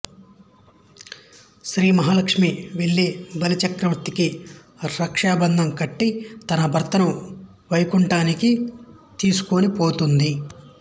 శ్రీమహాలక్ష్మి వెళ్లి బలిచక్రవర్తికి రక్షాబంధంకట్టి తన భర్తను వైకుంఠానికి తీసుకొనిపోతుంది